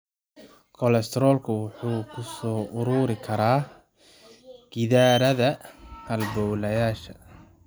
Kolestaroolku wuxuu ku soo ururi karaa gidaarada halbowlayaashaada.